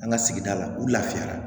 An ka sigida la u lafiyara